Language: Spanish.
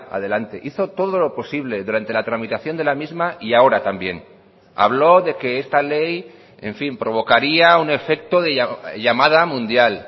adelante hizo todo lo posible durante la tramitación de la misma y ahora también habló de que esta ley en fin provocaría un efecto de llamada mundial